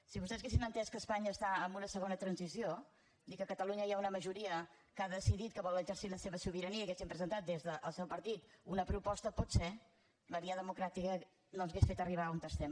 si vostès haguessin entès que espanya està en una segona transició i que a catalunya hi ha una majoria que ha decidit que vol exercir la seva sobirania i haguessin presentat des del seu partit una proposta potser la via democràtica no ens hauria fet arribar on estem